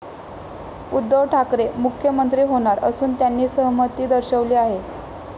उद्धव ठाकरे मुख्यमंत्री होणार असून त्यांनी सहमती दर्शवली आहे.